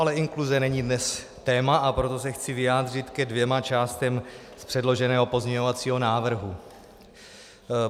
Ale inkluze není dnes téma, a proto se chci vyjádřit ke dvěma částem z předloženého pozměňovacího návrhu.